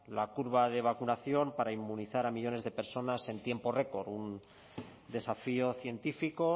la curva de vacunación para inmunizar a millónes de personas en tiempo récord un desafío científico